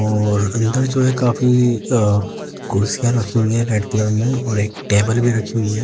और अंदर जो है अ काफी कुर्सियां रखी हुई हैं रेड कलर में और एक टेबल रखी हुई हैं।